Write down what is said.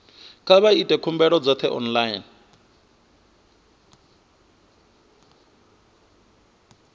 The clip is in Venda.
kha vha ite khumbelo dzoṱhe online